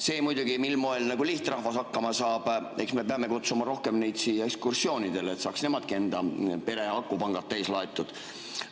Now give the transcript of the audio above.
See muidugi, mil moel lihtrahvas hakkama saab – eks me peame kutsuma rohkem neid siia ekskursioonidele, et saaks nemadki enda pere akupangad täis laetud.